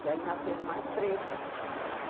Que aí nasceram mais três, né?